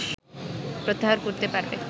প্রত্যাহার করতে পারবে